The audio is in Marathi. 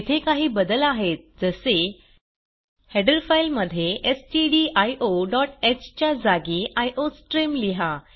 येथे काही बदल आहेत जसे हेडर फाइल मध्ये stdioह च्या जागी आयोस्ट्रीम लिहा